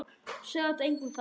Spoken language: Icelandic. Segðu þetta engum sagði hann.